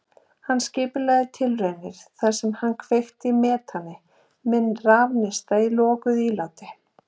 Hann skipulagði tilraunir þar sem hann kveikti í metani með rafneista í lokuðu íláti.